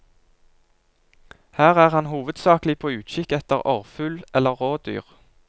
Her er han hovedsakelig på utkikk etter orrfugl eller rådyr.